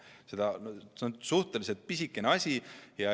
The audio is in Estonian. See on suhteliselt pisikene asi.